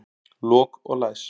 Lok og læs.